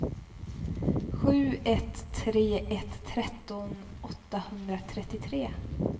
sju ett tre ett tretton åttahundratrettiotre